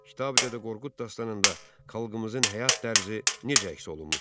Kitabi Dədə Qorqud dastanında xalqımızın həyat tərzi necə əks olunmuşdur?